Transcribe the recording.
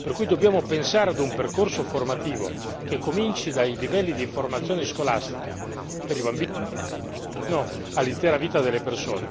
Per cui dobbiamo pensare a un percorso formativo che cominci dai livelli di formazione scolastica per i più giovani fino all'intera vita delle persone in modo tale